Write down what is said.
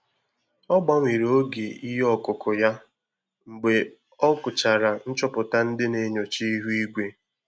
Ọ gbanwere oge ihe ọkụkụ ya mgbe ọ gụchara nchopụta ndị na enyocha ihu igwe